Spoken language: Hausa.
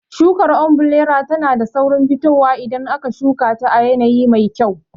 Shukar ombirela tana da saurin fitowa idan aka shuka ta a yanayi mafi kyau.